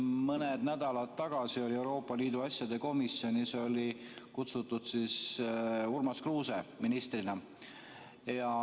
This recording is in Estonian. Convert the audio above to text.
Mõned nädalad tagasi oli Euroopa Liidu asjade komisjoni kutsutud Urmas Kruuse ministrina.